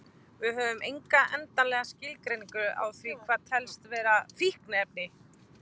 Við höfum enga endanlega skilgreiningu á því hvað telst vera fíkniefni.